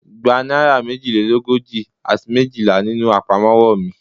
Gba naira mejilelogoji ati mejila ninu apamọwọ mi